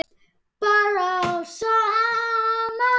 Bara allt saman.